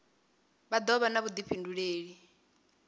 vha do vha na vhudifhinduleli